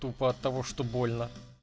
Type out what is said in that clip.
тупо от того что больно